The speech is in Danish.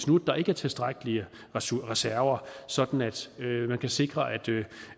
nu ikke er tilstrækkelige reserver sådan at man kan sikre